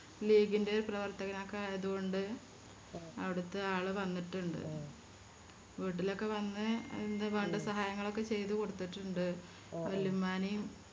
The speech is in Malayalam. ലീഗിൻറെ പ്രവർത്തകനൊക്കെ ആയത് കൊണ്ട് അവിടുത്തെ ആള് വന്നിട്ടിണ്ട് വീട്ടിലൊക്കെ വന്ന് എന്ത് വേണ്ട സഹായങ്ങളൊക്കെ ചെയ്ത കൊടുത്തിട്ടുണ്ട് വലിയുമ്മാനേം